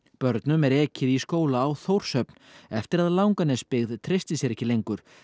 börnum er ekið í skóla á Þórshöfn eftir að Langanesbyggð treysti sér ekki lengur